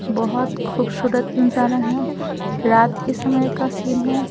बहुत खूबसूरत नजारा है रात के समय का सीन है।